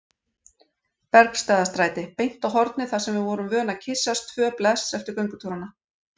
Bergstaðastræti, beint á hornið þar sem við vorum vön að kyssast tvö bless eftir göngutúrana.